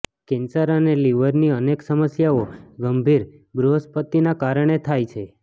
cancer અને લિવરની અનેક સમસ્યાઓ ગંભીર બૃહસ્પતિના કારણે થાય છે